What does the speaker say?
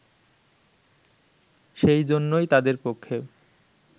সেইজন্যই তাদের পক্ষে